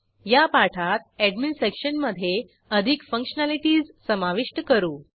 या पाठात एडमिन सेक्शनमधे अधिक फंक्शनॅलिटीज समाविष्ट करू